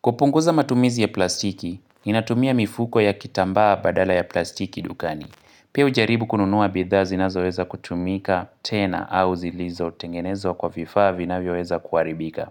Kupunguza matumizi ya plastiki, ninatumia mifuko ya kitambaa badala ya plastiki dukani. Pia hujaribu kununua bidhaa zinazoweza kutumika tena au zilizo tengenezwa kwa vifaa vinavyoweza kuharibika.